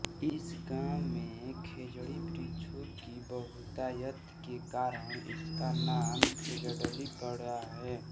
इस गाँव में खेजड़ी वृक्षों की बहुतायत के कारण इसका नाम खेजड़ली पड़ा है